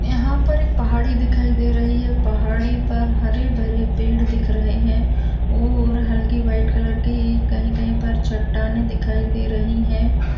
यहां पर एक पहाड़ी दिखाई दे रही है। पहाड़ी पर हरे-भरे पेड़ दिख रहे है और हल्के व्हाइट कलर के कहीं-कहीं पर चट्टाने दिखाई दे रही है।